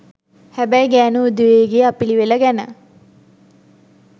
හැබැයි ගෑනු උදවියගේ අපිලිවෙල ගැන